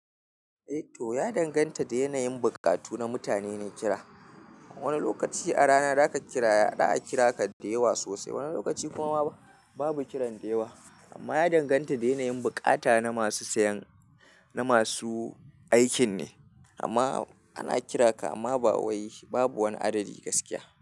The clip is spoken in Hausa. Eh to ya danganta da yanayin buƙatu na mutane ne kira. Wani lokaci a rana za ka kira za ya a kira ka da yawa sosai, wani lokaci kuma babu kiran da yawa. Amma ya danganta da yanayin buƙata na masu sayan, na masu aikin ne. Amma ana kira ka amma ba wai babu wani adadi gaskiya.